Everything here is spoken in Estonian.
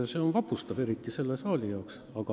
See on vapustav, eriti selles saalis.